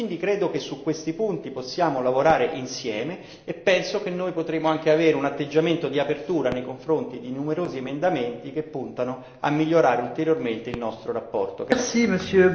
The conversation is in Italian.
Credo che su questi punti si possa lavorare insieme e penso che potremo avere anche un atteggiamento di apertura nei confronti di numerosi emendamenti che puntano a migliorare ulteriormente la nostra relazione.